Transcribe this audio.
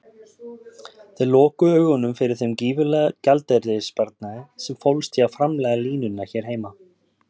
Þeir lokuðu augunum fyrir þeim gífurlega gjaldeyrissparnaði sem fólst í að framleiða línuna hér heima.